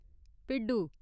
भिड्ढू